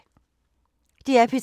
DR P3